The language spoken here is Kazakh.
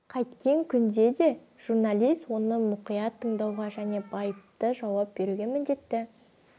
қайткен күнде де журналист оны мұқият тыңдауға және байыпты жауап беруге міндетті